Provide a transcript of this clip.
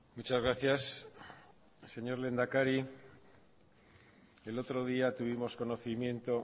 muchas gracias señor lehendakari el otro día tuvimos conocimiento